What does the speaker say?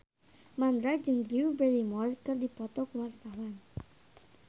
Mandra jeung Drew Barrymore keur dipoto ku wartawan